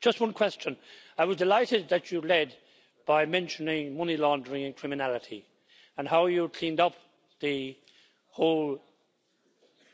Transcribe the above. Just one question I was delighted that you led by mentioning money laundering and criminality and how you cleaned up the whole